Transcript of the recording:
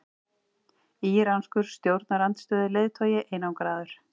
Íranskur stjórnarandstöðuleiðtogi einangraður